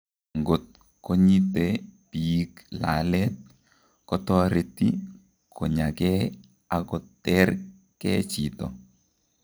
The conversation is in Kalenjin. Ang'ot konyite biik laalet kotoreti konyakee ak koter kee chito